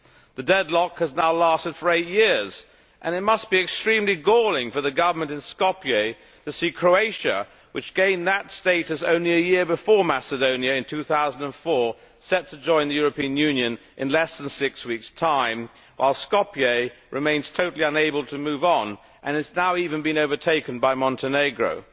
The deadlock has now lasted eight years, and it must be extremely galling for the government in Skopje to see Croatia, which gained that status only a year before Macedonia in 2004, set to join the European Union in less than six weeks' time while Skopje remains totally unable to move on and has now even been overtaken by Montenegro.